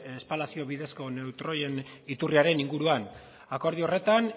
espalazio bidezko neutroien iturriaren inguruan akordio horretan